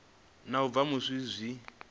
na u bva musi zwi